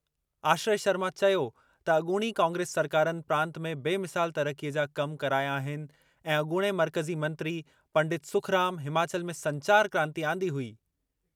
आश्रय शर्मा चयो त अॻूणी कांग्रेस सरकारुनि प्रांत में बेमिसाल तरक़ीअ जा कम कराया आहिनि ऐं अॻूणे मर्कज़ी मंत्री पंडित सुखराम हिमाचल में संचार क्रांति आंदी हुई।